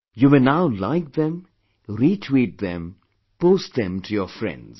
You may now like them, retweet them, post them to your friends